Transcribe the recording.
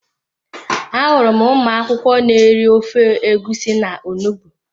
Ahụrụ m ụmụ akwụkwọ n'eri ofe egusi na onugbu